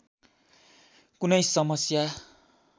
कुनै समस्या